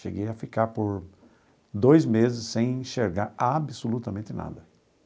Cheguei a ficar por dois meses sem enxergar absolutamente nada.